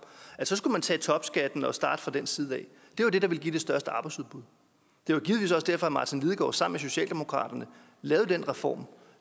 at så skulle man tage topskatten og starte fra den side af det er det der ville give det største arbejdsudbud det var givetvis også derfor at martin lidegaard sammen med socialdemokratiet lavede den reform